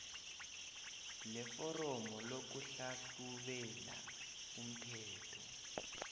leforomo lokuhlahlubela umthelo